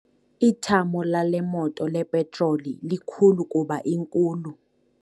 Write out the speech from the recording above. Ithamo lale moto lepetroli likhulu kuba inkulu.